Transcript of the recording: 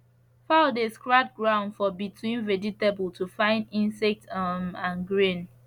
fowl dey scratch ground for between vegetable to find insect um and grain